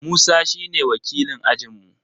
Musa shi ne wakilin ajin mu